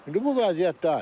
İndi bu vəziyyətdir.